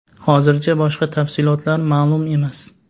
Hozircha boshqa tafsilotlar ma’lum emas.